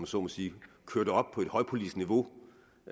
så må sige køre det op på et højpolitisk niveau